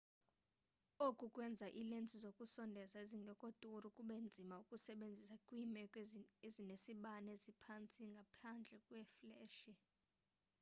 oku kwenza iilensi zokusondeza ezingekho duru kube nzima ukuzisebenzisa kwiimeko ezinesibane esiphantsi ngaphandle fleshi